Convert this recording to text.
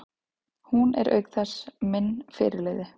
Hún er auk þess minn fyrirliði.